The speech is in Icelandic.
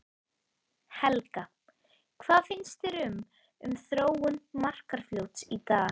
Helga: Hvað finnst þér um, um þróun Markarfljóts í dag?